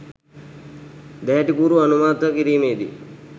දැහැටිකූරු අනුමත කිරීමේදි